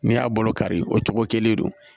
N'i y'a bolo kari o cogo kelen don